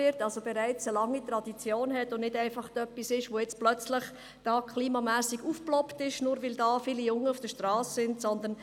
Das hat also bereits eine lange Tradition und ist nicht etwas, das jetzt plötzlich wegen des Klimathemas aufgetaucht ist oder weil deshalb viele Junge auf der Strasse unterwegs sind.